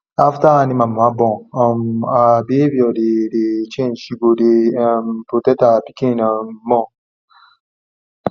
after animal mama born um her behavior dey dey change she go dey um protect her pikin um more